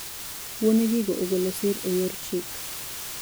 Wuone gigo ogolo sir e yor chik.